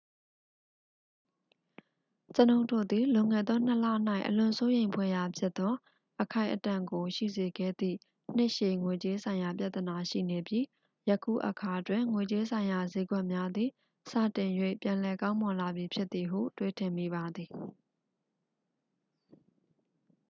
ကျွန်ုပ်တို့တွင် လွန်ခဲ့သောနှစ်လ၌ အလွန်စိုးရိမ်ဖွယ်ရာဖြစ်သော အခိုက်အတန့်ကို ရှိစေခဲ့သည့် နှစ်ရှည် ငွေကြေးဆိုင်ရာ ပြဿနာရှိနေပြီး ယခုအခါတွင် ငွေကြေးဆိုင်ရာစျေးကွက်များသည် စတင်၍ ပြန်လည်ကောင်းမွန်လာပြီဖြစ်သည်ဟု တွေးထင်မိပါသည်